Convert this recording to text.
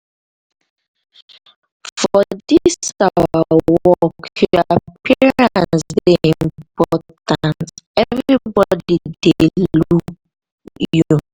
for dis our work your appearance dey important everbodi dey look look you.